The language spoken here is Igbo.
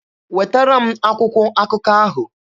Wetara m akwụkwọ akụkọ ahụ!